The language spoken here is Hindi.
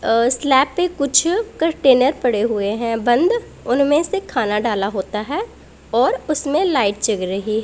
अह स्लैब पे कुछ कंटेनर पड़े हुए हैं बंद उनमें से खाना डाला होता है और उसमें लाइट जग रही--